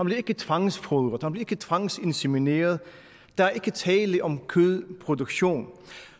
bliver ikke tvangsfodret den bliver ikke tvangsinsemineret der er ikke tale om kødproduktion